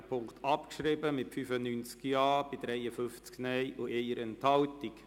Sie haben Punkt 1 abgeschrieben mit 95 Ja- bei 53 Nein-Stimmen und 1 Enthaltung.